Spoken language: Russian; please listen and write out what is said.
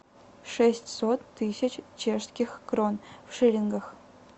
шестьсот тысяч чешских крон в шиллингах